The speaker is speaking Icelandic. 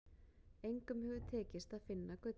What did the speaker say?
Engum hefur tekist að finna gullið.